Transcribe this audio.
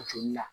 Joli la